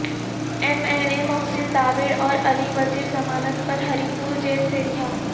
M N A Mohsin Dawar اور علی وزیر ضمانت پر ہری پور جیل سے رہا